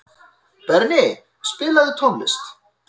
Berni, spilaðu tónlist.